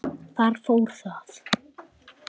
Þar fór það.